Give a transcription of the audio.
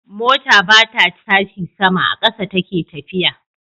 Mota bata tashi sama,a ƙasa take tafiya